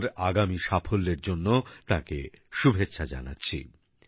তাঁর আগামী সাফল্যের জন্য তাঁকে শুভেচ্ছা জানাচ্ছি